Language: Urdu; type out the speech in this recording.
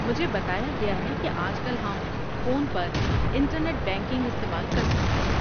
مجھے بتایا گیا ہے کہ آج کل ہم فون پر انٹرنیٹ بینکنگ استعمال کر سکتے ہیں۔